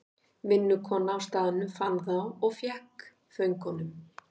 Vinnukona á staðnum fann þá og fékk föngunum.